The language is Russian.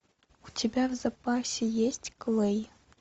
у тебя в запасе есть клэй